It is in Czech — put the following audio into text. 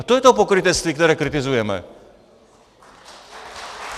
A to je to pokrytectví, které kritizujeme.